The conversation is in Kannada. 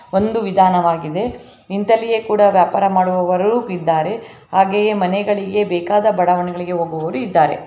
ಒಂದು ವಿಧಾನವಾಗಿದೆ ನಿಂತಲ್ಲಿಯೇ ಕೂಡ ವ್ಯಾಪಾರ ಮಾಡುವವರು ಇದ್ದಾರೆ ಹಾಗೆಯೆ ಮನೆಗಳಿಗೆ ಬೆಕಾದ ಬಡಾವಣೆಗಳಿಗೆ ಹೊಗುವವರು ಇದ್ದಾರೆ .